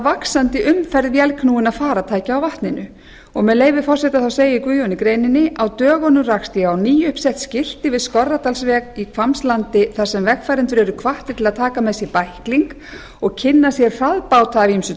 vaxandi umferð vélknúinna farartækja á vatninu og guðjón segir í greininni með leyfi forseta á dögunum rakst ég á nýuppsett skilti við skorradalsveg í hvammslandi þar sem vegfarendur eru hvattir að taka með sér bækling og kynna sér hraðbáta af ýmsu